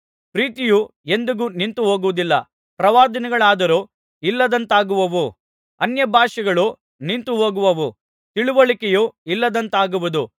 ಪ್ರೀತಿಯು ಎಂದಿಗೂ ನಿಂತುಹೋಗುವುದಿಲ್ಲ ಪ್ರವಾದನೆಗಳಾದರೂ ಇಲ್ಲದಂತಾಗುವವು ಅನ್ಯಭಾಷೆಗಳೋ ನಿಂತುಹೋಗುವವು ತಿಳಿವಳಿಕೆಯೋ ಇಲ್ಲದಂತಾಗುವುದು